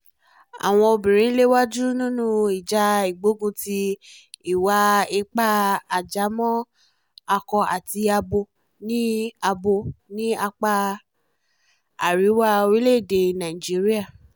àwọn obìnrin ń léwájú nínú ìjà ìgbógunti ìwà-ipá ajámọ̀ akó àti abo ní abo ní apá àríwá orílẹ̀-èdè nàíjíríà